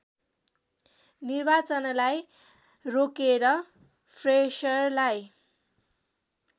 निर्वाचनलाई रोकेर फ्रेसरलाई